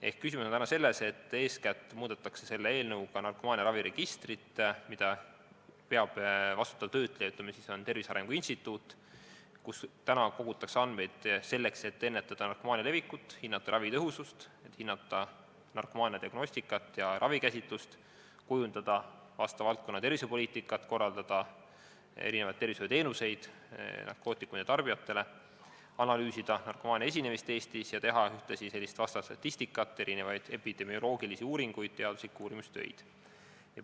Ehk küsimus on täna selles, et eeskätt muudetakse selle eelnõuga narkomaaniaraviregistrit, mida peab vastutav töötleja Tervise Arengu Instituut ja kuhu kogutakse andmeid selleks, et ennetada narkomaania levikut, hinnata ravi tõhusust, hinnata narkomaania diagnostikat ja ravikäsitlust, kujundada valdkonna tervisepoliitikat, korraldada narkootikumide tarbijatele pakutavaid tervishoiuteenuseid, analüüsida narkomaania esinemist Eestis ning teha ühtlasi statistikat, epidemioloogilisi uuringuid ja teaduslikke uurimistöid.